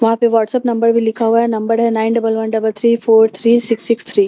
वहाँ पे WhatsApp number भी लिखा हुआ है नंबर है nine double one double three four three six six three.